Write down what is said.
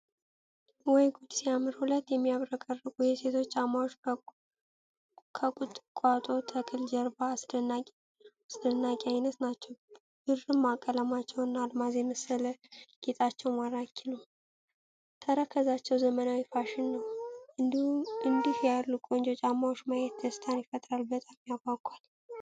ወይ ጉድ ሲያምር! ሁለት የሚያብረቀርቁ የሴቶች ጫማዎች ከቁጥቋጦ ተክል ጀርባ አስደናቂ አይነት ናቸው። ብርማ ቀለማቸውና አልማዝ የመሰለ ጌጣቸው ማራኪ ነው። ተረከዛቸው ዘመናዊ ፋሽን ነው። እንዲህ ያሉ ቆንጆ ጫማዎችን ማየት ደስታን ይፈጥራል። በጣም ያጓጓል!